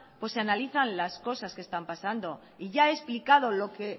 pues se analizan las cosas que están pasando y ya he explicado lo que